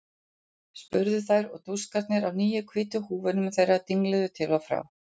spurðu þær og dúskarnir á nýju hvítu húfunum þeirra dingluðu til og frá.